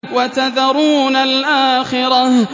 وَتَذَرُونَ الْآخِرَةَ